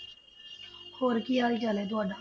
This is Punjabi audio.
ਹੋਰ ਕੀ ਹਾਲ ਚਾਲ ਹੈ ਤੁਹਾਡਾ?